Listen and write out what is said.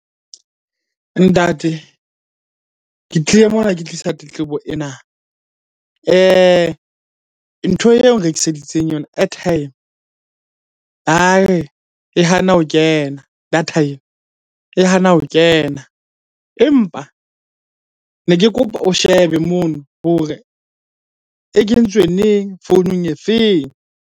Ntate, ke tlile mona ke tlisa tletlebo ena. Ntho eo nrekiseditseng yona airtime e hana ho kena data e, e hana ho kena. Empa ne ke kopa o shebe mono hore e kentswe neng? Founung e feng?